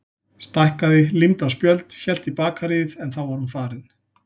Stækkaði, límdi á spjöld, hélt í bakaríið en þá var hún farin.